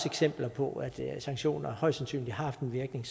eksempler på at sanktioner højst sandsynligt har haft en virkning